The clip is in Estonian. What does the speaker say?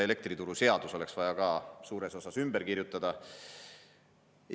Elektrituruseadus oleks vaja ka suures osas ümber kirjutada.